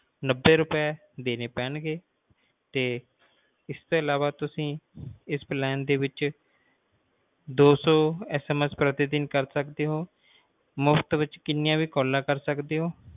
ਨੱਬੇ ਰੁਪਏ ਦੇਣੇ ਪੈਣਗੇ ਤੇ ਇਸ ਤੋਂ ਅਲਾਵਾ ਤੁਸੀਂ triplenine ਦੋ ਸੌ message ਪ੍ਰਤੀ ਦਿਨ ਕਰ ਸਕਦੇ ਹੋ ਮੁਫ਼ਤ ਵਿਚ ਛੱਲਾਂ ਕਰ ਸਕਦੇ ਹੋ